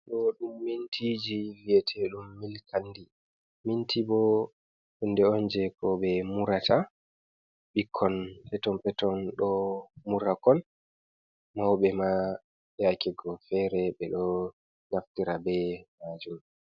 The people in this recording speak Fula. Ɗo ɗum mintiji vi'eteɗum milkandi. Minti bo hunde on jei ko ɓe murata. Ɓikkon peton-peton ɗo mura koi, mauɓe ma yaakego fere ɓe ɗo naftira be maajum.